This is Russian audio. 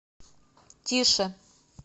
тише